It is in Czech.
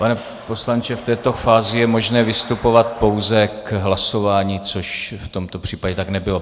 Pane poslanče, v této fázi je možné vystupovat pouze k hlasování, což v tomto případě tak nebylo.